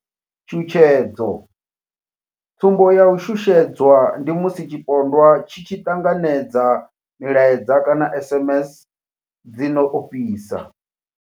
Tshutshedzo tsumbo ya u shushedzwa ndi musi tshipondwa tshi tshi ṱanganedza milaedza kana SMS dzi no ofhisa.